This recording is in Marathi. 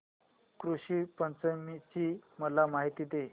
ऋषी पंचमी ची मला माहिती दे